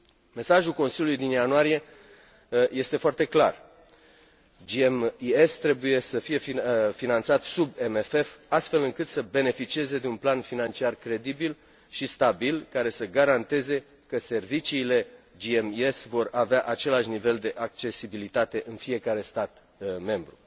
Mesajul Consiliului din ianuarie este foarte clar GMES trebuie să fie finanțat sub MFF, astfel încât să beneficieze de un plan financiar credibil și stabil, care să garanteze că serviciile GMES vor avea același nivel de accesibilitate în fiecare stat membru.